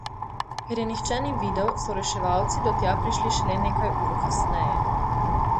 Ker je nihče ni videl, so reševalci do tja prišli šele nekaj ur kasneje.